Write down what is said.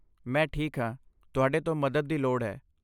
ਮੈਂ ਠੀਕ ਹਾਂ। ਤੁਹਾਡੇ ਤੋਂ ਮਦਦ ਦੀ ਲੋੜ ਹੈ।